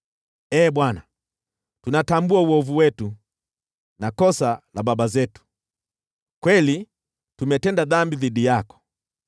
Ee Bwana , tunatambua uovu wetu na kosa la baba zetu; kweli tumetenda dhambi dhidi yako.